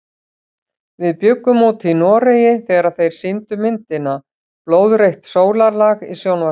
Við bjuggum úti í Noregi þegar þeir sýndu myndina Blóðrautt sólarlag í sjónvarpinu.